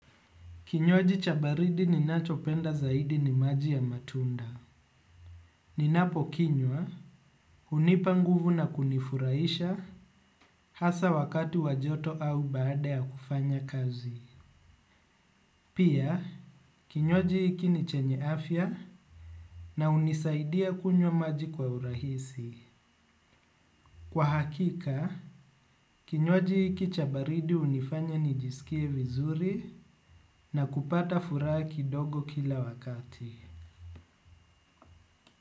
Kinywaji cha baridi ninachopenda zaidi ni maji ya matunda. Ninapokinywa hunipanguvu na kunifuraisha hasa wakati wajoto au baada ya kufanya kazi. Pia, kinywaji hiki ni chenye afya na hunisaidia kunywa maji kwa urahisi. Kwa hakika, kinywaji hiki cha baridi hunifanya nijisikie vizuri na kupata furaha kidogo kila wakati.